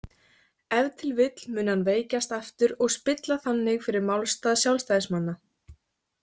Ef til vill muni hann veikjast aftur og spilla þannig fyrir málstað sjálfstæðissinna.